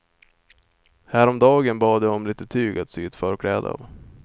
Häromdagen bad jag om litet tyg att sy ett förkläde av.